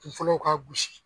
Kun fɔlɔw ka gosi.